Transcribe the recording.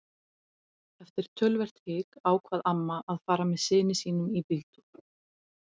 Eftir töluvert hik ákvað amma að fara með syni sínum í bíltúr.